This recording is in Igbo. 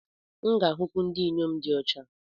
M ga-ahụkwu ndị inyom di ọcha.